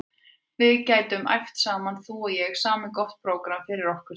Við getum æft saman þú og ég, samið gott prógramm fyrir okkur tvær.